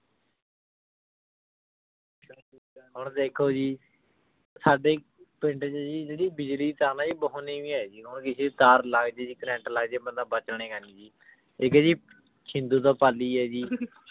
ਹੁਣ ਦੇਖੋ ਜੀ ਸਾਡੇ ਪਿੰਡ ਚ ਜੀ ਜੇਰੀ ਬਿਜਲੀ ਦੀ ਤਾਰ ਨਾ ਜੀ ਬੋਹਤ ਨੇਵੀ ਆਯ ਜੀ ਜਦੋਂ ਬਿਜਲੀ ਦੀ ਤਾਰ ਲਾਗ ਜੇ ਕੈਰ੍ਰੰਟ ਲਾਗ ਜੇ ਬੰਦਾ ਬਚੇ ਗਾ ਨਿਆ ਜੀ ਏਇਕ ਆਯ ਜੀ ਸ਼ਿੰਦੋ ਦਾ ਪਾਲੀ ਆਯ ਜੀ